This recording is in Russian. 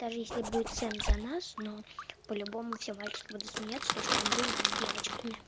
даже если будет сам за нас но по-любому все мальчик буду смеяться то что он дружит с девочками